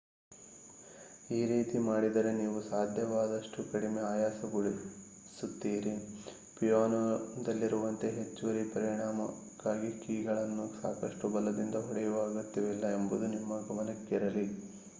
ಈ ರೀತಿ ಮಾಡಿದರೆ ನೀವು ಸಾಧ್ಯವಾದಷ್ಟು ಕಡಿಮೆ ಆಯಾಸಗೊಳಿಸುತ್ತೀರಿ ಪಿಯಾನೋದಲ್ಲಿರುವಂತೆ ಹೆಚ್ಚುವರಿ ಪರಿಮಾಣಕ್ಕಾಗಿ ಕೀಗಳನ್ನು ಸಾಕಷ್ಟು ಬಲದಿಂದ ಹೊಡೆಯುವ ಅಗತ್ಯವಿಲ್ಲ ಎಂಬುದು ನಿಮ್ಮ ಗಮನಕ್ಕಿರಲಿ